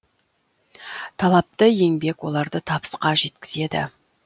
талапты еңбек оларды табысқа жеткізеді